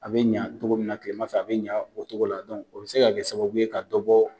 A bɛ ɲɛ cogo min na tilema fɛ a bɛ ɲɛ o cogo la o bɛ se ka kɛ sababu ye ka dɔ bɔ